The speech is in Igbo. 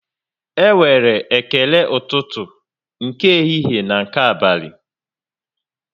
E nwere ekele ụtụtụ, nke ehihie na nke abalị